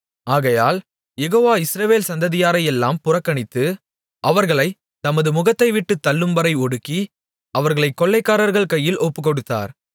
ஆகையால் Jehovah Israel சந்ததியாரையெல்லாம் புறக்கணித்து அவர்களைத் தமது முகத்தைவிட்டுத் தள்ளும்வரை ஒடுக்கி அவர்களைக் கொள்ளைக்காரர்கள் கையில் ஒப்புக்கொடுத்தார்